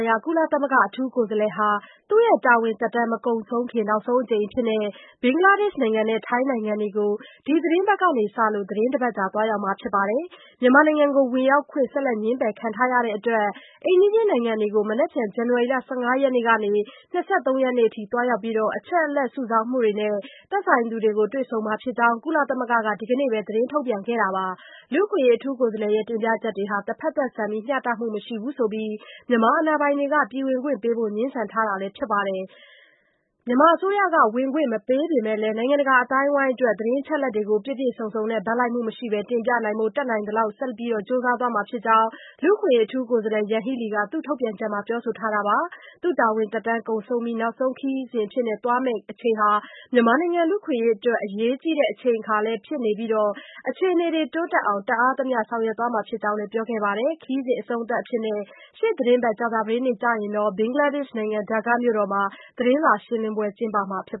ရာ ကုလသမဂ္ဂ အထူးကိုယ်စားလှယ်ဟာ တာဝန်သက်တမ်း မကုန်ဆုံးခင် နောက်ဆုံးအကြိမ်အဖြစ် ဘင်္ဂလားဒေ့ရှ်နဲ့ ထိုင်းနိုင်ငံတွေကို ဒီသီတင်းပတ်ကစလို့ သီတင်းတပတ်ကြာ သွားရောက်မှာဖြစ်ပါတယ်။ မြန်မာနိုင်ငံကို ဝင်ရောက်ခွင့် ဆက်လက် ငြင်းပယ်ခံထားရတဲ့အတွက် အိမ်နီးချင်း နိုင်ငံတွေကို မနက်ဖြန် ဇန်နဝါရီ ၁၅ ရက်နေ့ကနေ ၂၃ ရက်နေ့အထိ သွားရောက်ပြီး အချက်အလက် စုဆောင်းမှုတွေနဲ့ သက်ဆိုင်သူတွေကို တွေ့ဆုံမှာဖြစ်ကြောင်း ကုလသမဂ္ဂက ဒီကနေ့ပဲ သတင်းထုတ်ပြန်ခဲ့တာပါ။ လူ့အခွင့်အရေး အထူးကိုယ်စားလှယ်ရဲ့ တင်ပြချက်တွေဟာ တဖက်သတ်ဆန်ပြီး ှမျှတမှု မရှိဘူးဆိုပြီး မြန်မာအာဏာပိုင်တွေက ပြည်ဝင်ခွင့်ပေးဖို့ ငြင်းဆန်ထားတာလည်း ဖြစ်ပါတယ်။ မြန်မာအစိုးရက ဝင်ခွင့်မပေးပေမဲ့လည်း နိုင်ငံတကာ အသိုင်းအဝန်းအတွက် သတင်းအချက်အလက်တွေကို ပြည့်ပြည့်စုံစုံနဲ့ ဘက်လိုက်မှုမရှိဘဲ တင်ပြနိုင်ဖို့ တတ်နိုင်သမျှ ဆက်လက် ကြိုးပမ်းသွားမှာဖြစ်ကြောင်းလည်း လူ့အခွင့်အရေး အထူးကိုယ်စားလှယ် Yanghee Lee က ထုတ်ပြန်ချက်မှာ ပြောဆိုထားတာပါ။ သူ့တာဝန်သက်တမ်း ကုန်ဆုံးပြီး နောက်ဆုံးခရီးစဉ်အဖြစ် သွားမယ့်အချိန်ဟာ မြန်မာနိုင်ငံ လူ့အခွင့်အရေးအတွက် အရေးကြီးတဲ့ အချိန်အခါလည်း ဖြစ်နေပြီး၊ အခြေအနေတွေ တိုးတက်အောင် တတ်အားသမျှ ဆောင်ရွက်မှာ ဖြစ်ကြောင်းလည်း ပြောဆိုခဲ့တာပါ။ ခရီးစဉ်အဆုံးသတ်အဖြစ် ရှေ့သီတင်းပတ် ကြာသပတေးနေ့ကျရင် ဘင်္ဂလားဒေ့ရှ်နိုင်ငံ ဒက္ကားမြို့တော်မှာ သတင်းစာရှင်းလင်းပွဲ ကျင်းပမှာဖြစ်